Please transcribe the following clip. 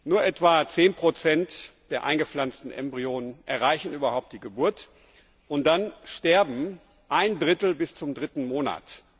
Nur etwa 10 der eingepflanzten Embryonen erreichen überhaupt die Geburt, und dann stirbt ein Drittel bis zum dritten Monat.